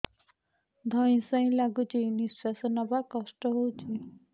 ଧଇଁ ସଇଁ ଲାଗୁଛି ନିଃଶ୍ୱାସ ନବା କଷ୍ଟ ହଉଚି